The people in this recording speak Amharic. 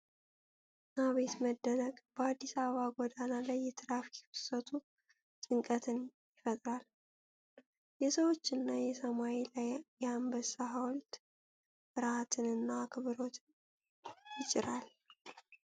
አቤት መደነቅ! በአዲስ አበባ ጎዳና ላይ የትራፊክ ፍሰቱ ጭንቀትን ይፈጥራል። የሰዎች እና የሰማይ ላይ የአንበሳ ሐውልት ፍርሃትን እና አክብሮትን ያጭራል።